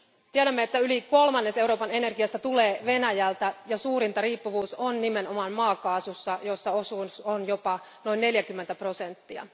Tiedämme, että yli kolmannes Euroopan energiasta tulee Venäjältä, ja suurinta riippuvuus on nimenomaan maakaasussa, jossa osuus on jopa noin 40 prosenttia.